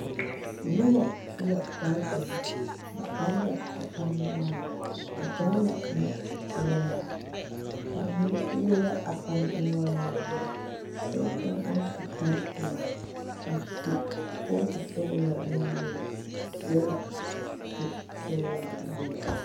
Nobɔ su la kpare dɔre ba are la a pane noɔreŋ ba pɛgle la lɔsɔglaa ba mine yire la a pane noɔreŋ waana dɔɔ kaŋ naŋ su kparepelaa a su kootu sɔglaa nuwogre seɛ la kurisɔglaa woge.